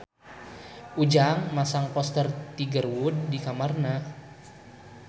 Ujang masang poster Tiger Wood di kamarna